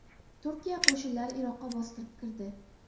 Turkiya qo‘shinlari Iroqqa bostirib kirdi.